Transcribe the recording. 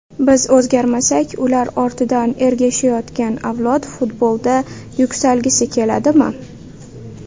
Biz o‘zgarmasak, ular ortidan ergashayotgan avlod futbolda yuksalgisi keladimi?